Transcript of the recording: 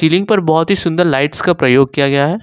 पर बहोत ही सुंदर लाइट्स का प्रयोग किया गया है।